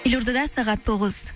елордада сағат тоғыз